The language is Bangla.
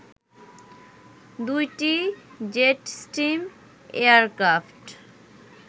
২টি জেটস্ট্রিম এয়ারক্রাফট